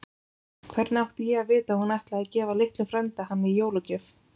Hvernig átti ég að vita að hún ætlaði að gefa litlum frænda hann í jólagjöf?